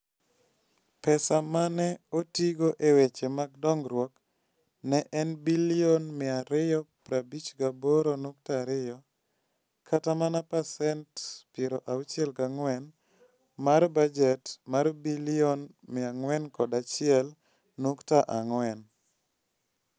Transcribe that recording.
Pesa ma ne otigo e weche mag dongruok ne en bilion 258.2, kata mana pasent 64 mar bajet mar bilion 401.4.